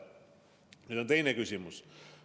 Nüüd on teine küsimus.